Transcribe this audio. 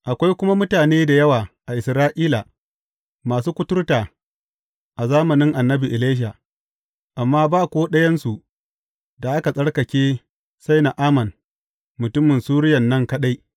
Akwai kuma mutane da yawa a Isra’ila masu kuturta a zamanin annabi Elisha, amma ba ko ɗayansu da aka tsarkake sai Na’aman mutumin Suriyan nan kaɗai.